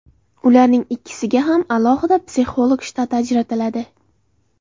Ularning ikkisiga ham alohida psixolog shtati ajratiladi.